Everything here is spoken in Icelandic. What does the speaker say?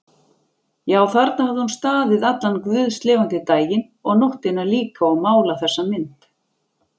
Já, þarna hafði hún staðið allan guðslifandi daginn og nóttina líka og málað þessa mynd.